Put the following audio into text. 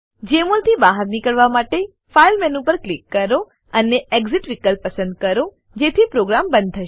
જમોલ થી બહાર નીકળવા માટે ફાઇલ મેનુ પર ક્લિક કરો અને એક્સિટ વિકલ્પ પસંદ કરો જેથી પ્રોગ્રામ બંધ થશે